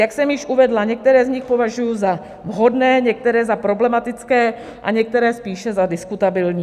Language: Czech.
Jak jsem již uvedla, některé z nich považuji za vhodné, některé za problematické a některé spíše za diskutabilní.